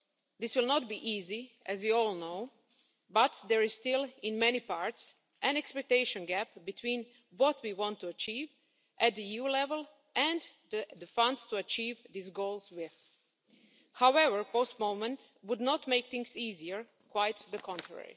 This will not be easy, as we all know, but there is still, in many parts, an expectation gap between what we want to achieve at EU level and the funds to achieve these goals. However, postponement would not make things easier, quite the contrary.